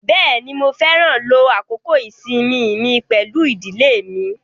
Bẹ́ẹ̀ni, Mo fẹran ló àkókò ìṣẹ́mi mi pẹ̀lú idílé mi